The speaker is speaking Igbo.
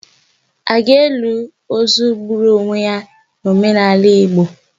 A ga-eli ozu gburu onwe ya n'omenala Igbo?